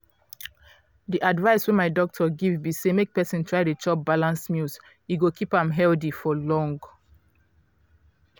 di advice wey my doctor give be say make persin try dey chop balanced meals e go keep am healthy for long.